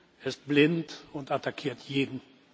Er ist blind und attackiert jeden.